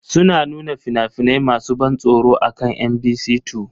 Suna nuna fina-finai masu ban tsoro akan Mbc 2.